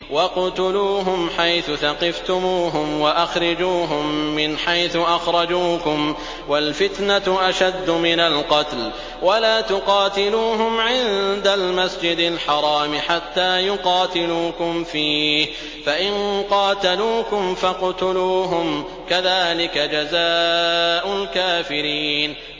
وَاقْتُلُوهُمْ حَيْثُ ثَقِفْتُمُوهُمْ وَأَخْرِجُوهُم مِّنْ حَيْثُ أَخْرَجُوكُمْ ۚ وَالْفِتْنَةُ أَشَدُّ مِنَ الْقَتْلِ ۚ وَلَا تُقَاتِلُوهُمْ عِندَ الْمَسْجِدِ الْحَرَامِ حَتَّىٰ يُقَاتِلُوكُمْ فِيهِ ۖ فَإِن قَاتَلُوكُمْ فَاقْتُلُوهُمْ ۗ كَذَٰلِكَ جَزَاءُ الْكَافِرِينَ